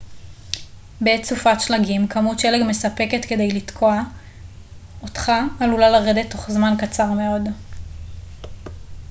בעת סופת שלגים כמות שלג מספקת כדי לתקוע אותך עלולה לרדת תוך זמן קצר מאוד